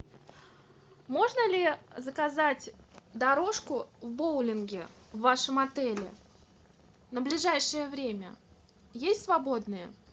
можно ли заказать дорожку в боулинге в вашем отеле на ближайшее время есть свободные